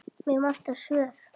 Mig vantar svör.